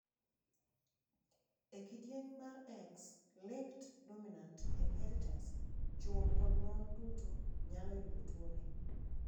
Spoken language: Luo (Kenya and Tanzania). E kidieny mar x linked dominant inheritance, chuo kod mon duto nyalo yudo tuoni.